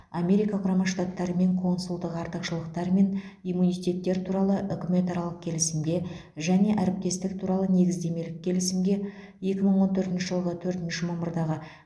америка құрама штаттарымен консулдық артықшылықтар мен иммунитеттер туралы үкіметаралық келісімге және әріптестік туралы негіздемелік келісімге екі мың он төртінші жылғы төртінші мамырдағы